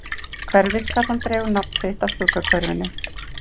Hverfisgata dregur nafn sitt af Skuggahverfinu.